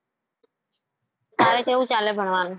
તારે કેવું ચાલે ભણવાનું?